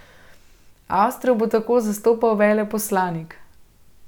Avstrijo bo tako zastopal veleposlanik.